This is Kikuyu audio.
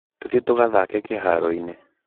Tũthiĩ tũgathaake kĩhaaro-inĩ.